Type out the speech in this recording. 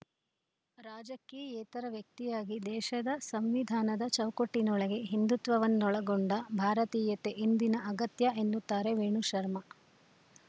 ರಾಜಕೀಯೇತರ ವ್ಯಕ್ತಿಯಾಗಿ ದೇಶದ ಸಂವಿಧಾನದ ಚೌಕಟ್ಟಿನೊಳಗೆ ಹಿಂದುತ್ವವನ್ನೊಳಗೊಂಡ ಭಾರತೀಯತೆ ಇಂದಿನ ಅಗತ್ಯ ಎನ್ನುತ್ತಾರೆ ವೇಣು ಶರ್ಮಾ